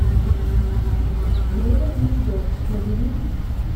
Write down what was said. время не ждет набери